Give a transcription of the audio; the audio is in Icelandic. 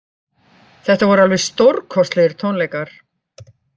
Þetta voru alveg stórkostlegir tónleikar